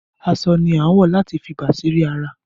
Aṣọ ni a ń wọ láti fi bàsírí ara